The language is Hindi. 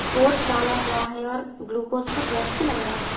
कोट डाला हुआ है और ग्लूकोज का बॉक्स भी लगाया हुआ है।